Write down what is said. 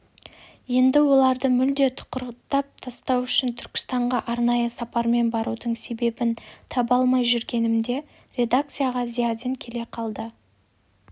енді оларды мүлде тұқыртып тастау үшін түркістанға арнайы сапармен барудың себебін таба алмай жүргенімде редакцияға зиядин келе қалды